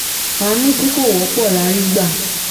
àánú tí kò wọ́pọ̀ la rí gbà